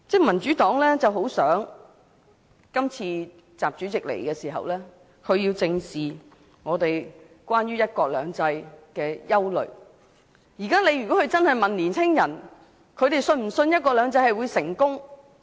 民主黨很希望習主席這次來港能正視大家對"一國兩制"落實情況的憂慮，如果他問青年人是否相信"一國兩制"會成功？